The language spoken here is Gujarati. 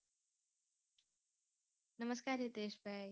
નમસ્કાર રીતેશભાઈ